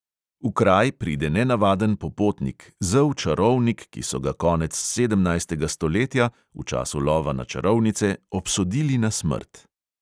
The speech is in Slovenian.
V kraj pride nenavaden popotnik, zel čarovnik, ki so ga konec sedemnajstega stoletja, v času lova na čarovnice, obsodili na smrt.